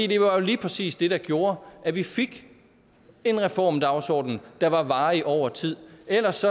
det var lige præcis det der gjorde at vi fik en reformdagsordenen der har varig over tid ellers